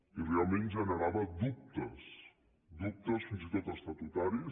i realment generava dubtes dubtes fins i tot estatutaris